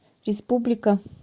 республика